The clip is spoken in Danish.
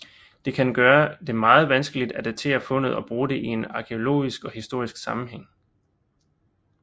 Det kan gøre det meget vanskeligt at datere fundet og bruge det i en arkæologisk og historisk sammenhæng